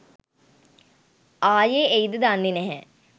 ආයේ එයිද දන්නෙ නැහැ.